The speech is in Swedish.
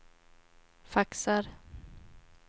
faxar